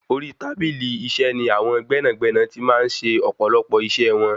Orí tábìlì iṣẹ́ ní àwọn gbẹ́nàgbẹ́nà ti máa ń ṣe ọ̀pọ̀lọpọ̀ iṣẹ wọn.